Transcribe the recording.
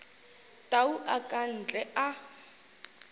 tau a ka ntle a